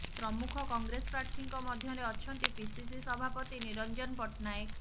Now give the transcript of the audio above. ପ୍ରମୁଖ କଂଗ୍ରେସ ପ୍ରାର୍ଥୀଙ୍କ ମଧ୍ୟରେ ଅଛନ୍ତି ପିସିସି ସଭାପତି ନିରଞ୍ଜନ ପଟ୍ଟନାୟକ